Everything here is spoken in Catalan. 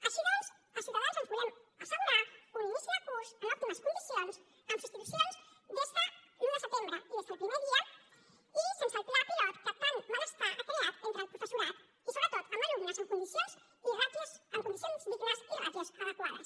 així doncs a ciutadans ens volem assegurar un inici de curs en òptimes condicions amb substitucions des de l’un de setembre i des del primer dia i sense el pla pilot que tant malestar ha creat entre el professorat i sobretot amb alumnes en condicions dignes i ràtios adequades